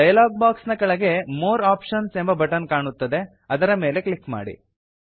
dialog box ನ ಕೆಳಗಡೆ more options ಎಂಬ ಬಟನ್ ಕಾಣುತ್ತದೆ ಅದರ ಮೇಲೆ ಕ್ಲಿಕ್ ಮಾಡಿ